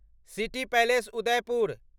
city palace Udaipur